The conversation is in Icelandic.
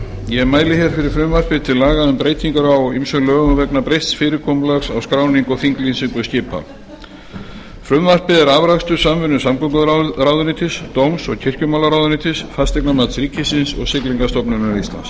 ég mæli hér fyrir frumvarpi til laga um breytingar á ýmsum lögum vegna breytts fyrirkomulags á skráningu og þinglýsingu skipa frumvarpið er afrakstur samvinnu samgönguráðuneytis dóms og kirkjumálaráðuneytis fasteignamats ríkisins og siglingastofnunar íslands